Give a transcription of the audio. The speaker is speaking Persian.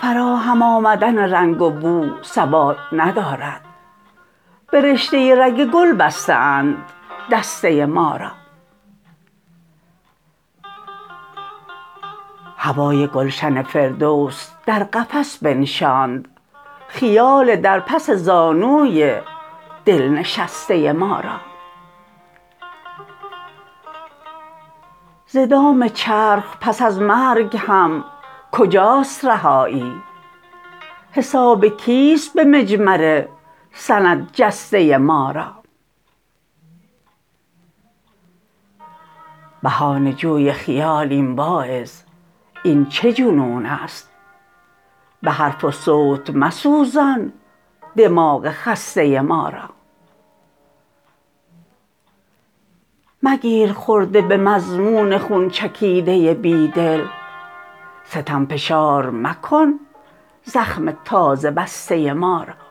فراهم آمدن رنگ و بو ثبات ندارد به رشته رگ گل بسته اند دسته ما را هوای گلشن فردوس در قفس بنشاند خیال در پس زانوی دل نشسته ما را ز دام چرخ پس از مرگ هم کجاست رهایی حساب کیست به مجمر سپند جسته ما را بهانه جوی خیالیم واعظ این چه جنون است به حرف و صوت مسوزان دماغ خسته ما را مگیر خرده به مضمون خون چکیده بیدل ستم فشار مکن زخم تازه بسته ما را